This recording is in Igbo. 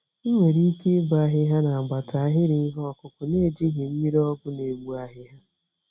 Ị nwere ike ịbọ ahịhịa nagbata ahịrị ihe okụkụ naejighị mmiri ọgwụ n'egbu ahịhịa.